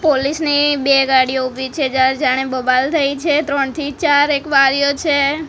Police ની બે ગાડી ઊભી છે જાણે બબાલ થઈ છે ત્રણથી ચાર એક બારીઓ છે.